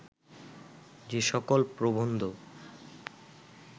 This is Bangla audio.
যে সকল প্রবন্ধ